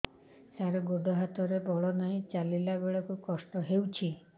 ସାର ଗୋଡୋ ହାତରେ ବଳ ନାହିଁ ଚାଲିଲା ବେଳକୁ କଷ୍ଟ ହେଉଛି